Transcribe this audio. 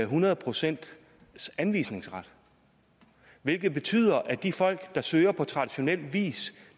hundrede procents anvisningsret hvilket betyder at de folk der søger på traditionel vis